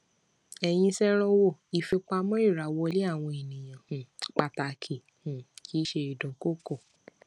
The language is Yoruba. èyí ṣèrànwọ ìfipamọ ìràwọlé àwọn ènìyàn um pàtàkì um kì í ṣe ìdúnkokò